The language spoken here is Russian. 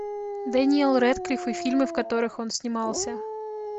дэниел рэдклифф и фильмы в которых он снимался